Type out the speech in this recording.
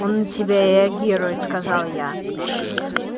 он на тебя реагирует сказал я